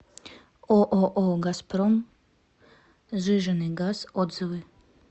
ооо газпром сжиженный газ отзывы